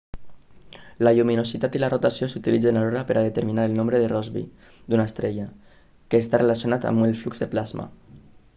la lluminositat i la rotació s'utilitzen alhora per a determinar el nombre de rossby d'una estrella que està relacionat amb el flux de plasma